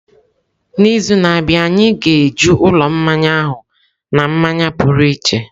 N'izu na-abịa, anyị ga-eju ụlọ mmanya ahụ na mmanya pụrụ iche.